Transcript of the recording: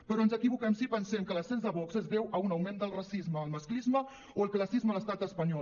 però ens equivoquem si pensem que l’ascens de vox es deu a un augment del racisme el masclisme o el classisme a l’estat espanyol